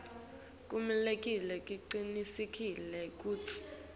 kumele sicinisekise kutsi